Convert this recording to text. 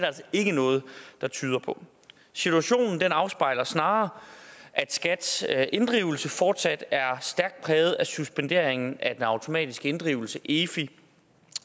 altså ikke noget der tyder på situationen afspejler snarere at skats inddrivelse fortsat er stærkt præget af suspenderingen af den automatiske inddrivelse i efi